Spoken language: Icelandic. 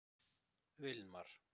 Vilmar